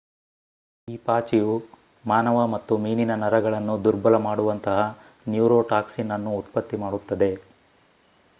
ಈ ಪಾಚಿಯು ಮಾನವ ಮತ್ತು ಮೀನಿನ ನರಗಳನ್ನು ದುರ್ಬಲ ಮಾಡುವಂತಹ ನ್ಯೂರೋಟಾಕ್ಸಿನ್ ಅನ್ನು ಉತ್ಪತ್ತಿ ಮಾಡುತ್ತದೆ